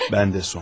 Mən də, Sonya.